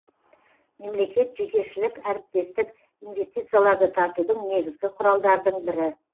мемлекет жекешілік әріптестік инвестицияларды тартудың негізгі құралдардың бірі